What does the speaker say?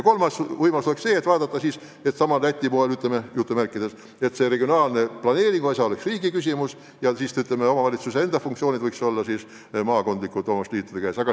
Üks võimalus oleks vaadata Läti poole ja mõelda, kas regionaalne planeering võiks olla riigi ülesanne ja omavalitsuste funktsioonid võiks olla maakondlike omavalitsusliitude kanda.